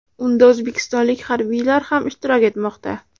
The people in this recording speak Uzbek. Unda o‘zbekistonlik harbiylar ham ishtirok etmoqda.